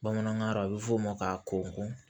Bamanankan na a bɛ f'o ma ka kɔn